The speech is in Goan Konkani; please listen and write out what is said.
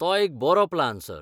तो एक बरो प्लान, सर.